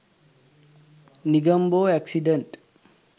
negombo accident